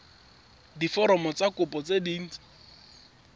diforomo tsa kopo tse dint